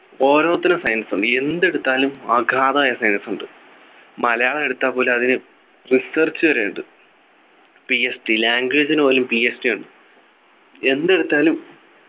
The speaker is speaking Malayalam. ഒരോത്തിനും science ഉണ്ട് എന്തെടുത്താലും അഗാധമായ science ഉണ്ട് മലയാളം എടുത്തപ്പോലും അതിന് research വരെയുണ്ട് PHDlanguage നു പോലും PhD ഉണ്ട് എന്തെടുത്താലും